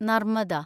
Narmada